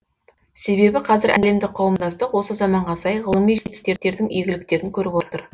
себебі қазір әлемдік қауымдастық осы заманға сай ғылыми жетістіктердің игіліктерін көріп отыр